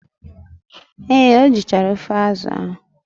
Ee, o jichara ofe azụ ahụ.